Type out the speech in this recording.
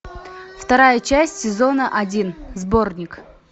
вторая часть сезона один сборник